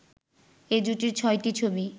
এ জুটির ছয়টি ছবি